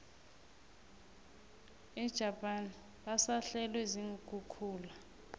ejapan basahlelwe ziinkhukhula